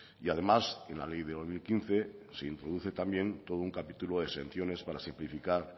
y además en la ley de dos mil quince se introduce también todo un capítulo de exenciones para simplificar